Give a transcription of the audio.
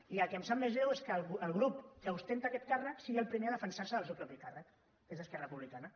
i el que em sap més greu és que el grup que exerceix aquest càrrec sigui el primer a defensar se del seu propi càrrec que és esquerra republicana